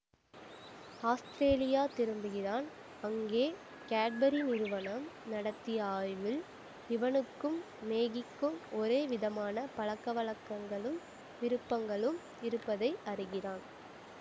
Australia திரும்புகிறான் அங்கே Cadbury நிறுவனம் நடித்திய ஆய்வில் இவனுக்கும் மேகிக்கும் ஒரே விதமான பழக்கவழக்கங்களும் விருப்பங்களும் இருப்பதை அறிகிறான்